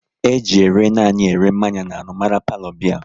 E ji ere nanị ere mmanya n'anụ mara palo biya